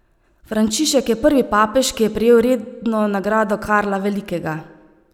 Frančišek je prvi papež, ki je prejel redno nagrado Karla Velikega.